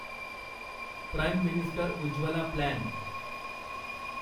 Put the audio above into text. prime minister Ujjwala plan